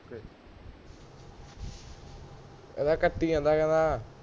ਇਹ ਤਾਂ ਕੱਟੀ ਜਾਂਦਾ ਕਹਿੰਦਾ